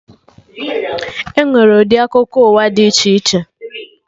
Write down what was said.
Enwere ndị akụkọ ụwa dị iche iche